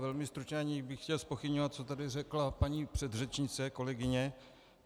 Velmi stručně, aniž bych chtěl zpochybňovat, co tady řekla paní předřečnice, kolegyně.